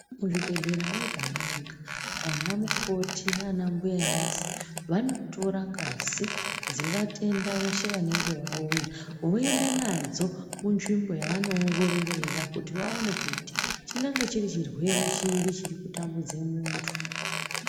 Muzvibhedhera mwega mwega vana mukoti nana mbuya nesi vanotora ngazi dzevatenda veshe vanenge vauya, voenda nadzo munzvimbo yavano ongororera kuti vaone kuti chirwere chiri chirikutambudze muntu.